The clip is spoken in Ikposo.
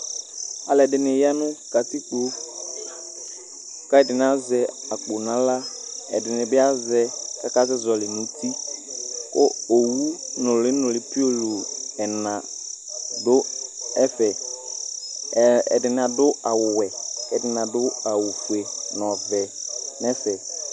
alʊɛdɩnɩ ya nʊ katikpo, kʊ ɛdɩnɩ azɛ akpo n'aɣla, ɛdɩnɩ bɩ azɛ kʊ asɛ zɔlɩ nʊ uti, kʊ owu nʊlɩ pioo ɛna dʊ ɛfɛ, ɛdɩnɩ adʊ awʊ wɛ kʊ ɛdɩnɩ adʊ awʊ fue, nʊ ɔvɛ nʊ ɛfɛ